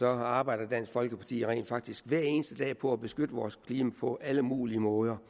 arbejder dansk folkeparti rent faktisk hver eneste dag på at beskytte vores klima på alle mulige måder